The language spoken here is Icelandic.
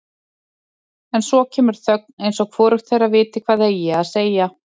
En svo kemur þögn eins og hvorugt þeirra viti hvað eigi að segja.